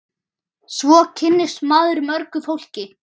Svo kynnist maður mörgu fólki.